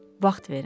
Vaxt verin.